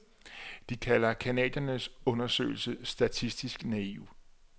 De kalder canadiernes undersøgelse statistisk naiv.